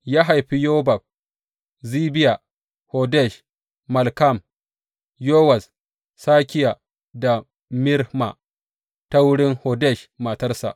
Ya haifi Yobab, Zibiya, Hodesh, Malkam, Yewuz, Sakiya da Mirma ta wurin Hodesh matarsa.